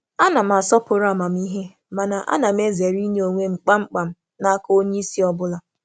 E nwere m ekele maka um amámịhe, ma ezèrè um m inye onwe m kpamkpam n’aka onye isi ime mmụọ.